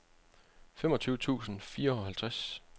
femogtyve tusind og fireoghalvtreds